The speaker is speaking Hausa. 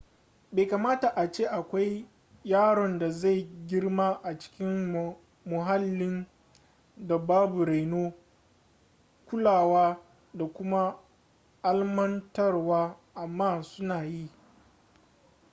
bai kamata a ce akwai yaron da zai girma a cikin muhallin da babu reno kulawa da kuma almantarwa amma suna yi